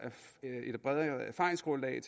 erfaringsgrundlag